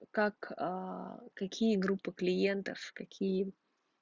как а какие группы клиентов какие